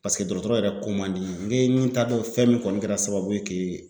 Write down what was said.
Paseke dɔgɔtɔrɔ yɛrɛ ko man di n ye ŋe min t'a dɔn fɛn min kɔni kɛra sababu ye k'e